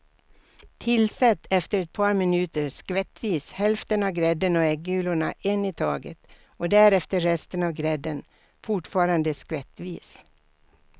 Tillsätt efter ett par minuter skvättvis hälften av grädden och äggulorna en i taget och därefter resten av grädden, fortfarande skvättvis.